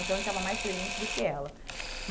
Então, ele estava mais presente do que ela.